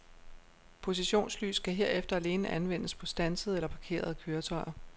Positionslys kan herefter alene anvendes på standsede eller parkerede køretøjer.